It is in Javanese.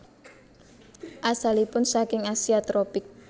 Asalipun saking Asia tropik